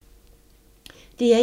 DR1